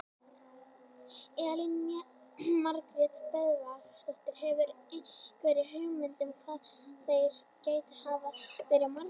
Elín Margrét Böðvarsdóttir: Hefurðu einhverja hugmynd um hvað þeir gætu hafa verið margir?